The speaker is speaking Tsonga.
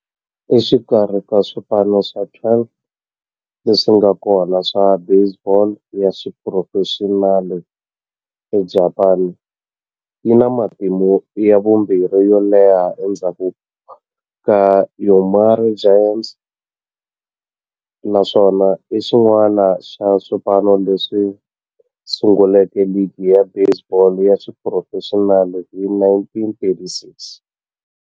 Exikarhi ka swipano swa 12 leswi nga kona swa baseball ya xiphurofexinali eJapani, yi na matimu ya vumbirhi yo leha endzhaku ka Yomiuri Giants, naswona i xin'wana xa swipano leswi sunguleke ligi ya baseball ya xiphurofexinali hi 1936.